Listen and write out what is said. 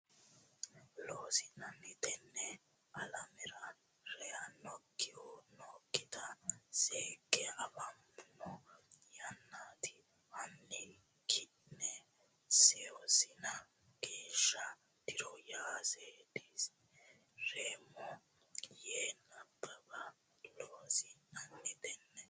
Loossinanni Tenne alamera reyannokkihu nookkita seekke afoommo Yannate hanni ki ne suwissine geeshsha diro ya seedisi reemmo yee nabbabbe Loossinanni Tenne.